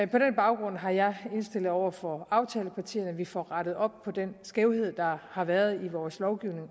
den baggrund har jeg indstillet over for aftalepartierne at vi får rettet op på den skævhed der har været i vores lovgivning